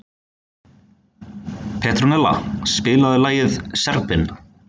Petronella, spilaðu lagið „Serbinn“.